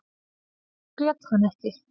Grét hann ekki.